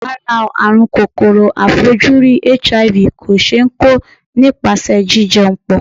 Rárá o, àrùn kòkòrò aàìfojúrí HIV kò ṣe é kó nípasẹ̀ jí jẹun pọ̀.